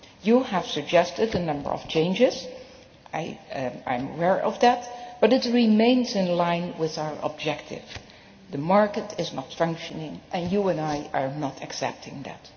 You have suggested a number of changes I am aware of that but it remains in line with our objective. The market is not functioning, and you and I do not accept that.